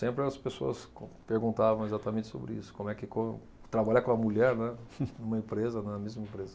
Sempre as pessoas com, perguntavam exatamente sobre isso, como é que com trabalhar com a mulher, né, numa empresa, na mesma empresa.